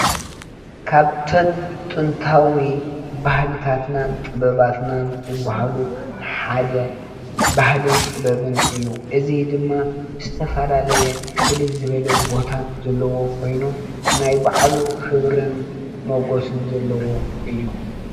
ካብተን ጥንታዊ ባህልታትናን ጥበባትናን ዝባሃሉ ሓደ ባህልን ጥበብን እዩ፡፡ እዚ ድማ ዝተፈላለየ ፍልይ ዝበለ ቦታ ዘለዎ ኾይኑ ናይ ባዕሉ ኽብሪን መጎስን ዘለዎ እዩ፡፡